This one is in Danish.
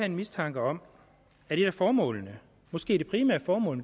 en mistanke om at et af formålene måske det primære formål